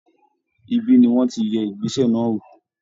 Ibí ni wọ́n ti yẹ ìgbésẹ̀ náà wò